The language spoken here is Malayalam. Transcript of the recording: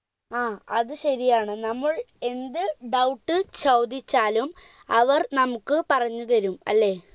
ആ അത് ശരിയാണ് നമ്മൾ എന്ത് doubt ചോദിച്ചാലും അവർ നമുക്ക് പറഞ്ഞു തരും അല്ലെ